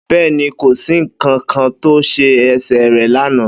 Bẹ́ẹ́ni, kòsí ń kankan tó se ẹsẹ̀ rẹ̀ lánàá.